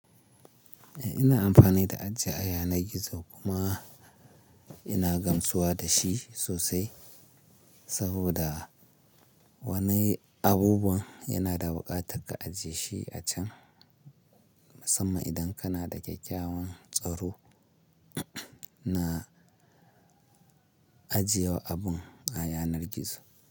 Eh ina amfani da aji a yanar gizo kuma ina gamsuwa da shi sosai saboda wani abubuwan yana da buƙatar ka ajiye shi a can, musamman idan kana da kyakkyawan tsaro ina ajiyewa abun a yanar gizo.